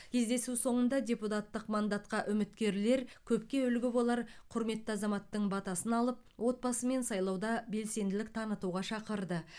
кездесу соңында депутаттық мандатқа үміткерлер көпке үлгі болар құрметті азаматтың батасын алып отбасымен сайлауда белсенділік танытуға шақырды